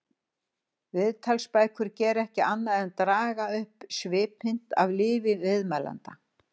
Viðtalsbækur gera ekki annað en draga upp svipmynd af lífi viðmælanda.